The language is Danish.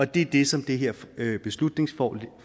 det er det som det her beslutningsforslag